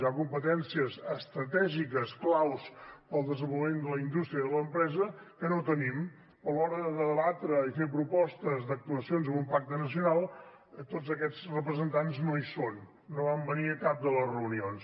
hi ha competències estratègiques claus per al desenvolupament de la indústria i de l’empresa que no tenim però a l’hora de debatre i fer propostes d’actuacions en un pacte nacional tots aquests representants no hi són no van venir a cap de les reunions